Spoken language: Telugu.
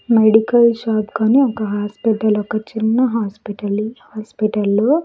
మెడికల్ షాప్ గాని ఒక హాస్పిటల్ ఒక చిన్న హాస్పిటల్ ఈ హాస్పిటల్ లో --